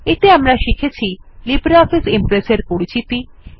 এতে আমরা শিখেছি লিব্রিঅফিস ইমপ্রেস এর পরিচিতি